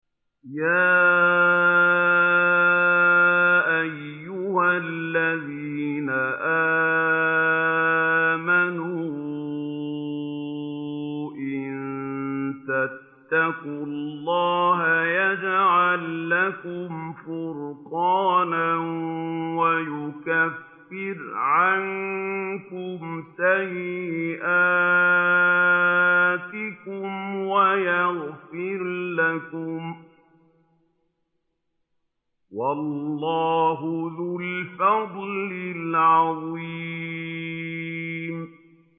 يَا أَيُّهَا الَّذِينَ آمَنُوا إِن تَتَّقُوا اللَّهَ يَجْعَل لَّكُمْ فُرْقَانًا وَيُكَفِّرْ عَنكُمْ سَيِّئَاتِكُمْ وَيَغْفِرْ لَكُمْ ۗ وَاللَّهُ ذُو الْفَضْلِ الْعَظِيمِ